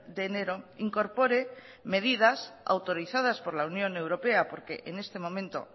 de enero incorpore medidas autorizadas por la unión europea porque en este momento